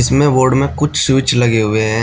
इसमें वार्ड में कुछ स्विच लगे हुए हैं।